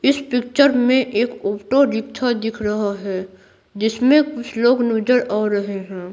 इस पिक्चर में एक ऑटो रिक्षा दिख रहा है जिसमें कुछ लोग नजर आ रहे हैं।